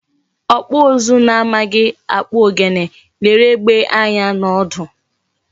Okpu uzu na amaghi akpu ogene lere egbe anya na odu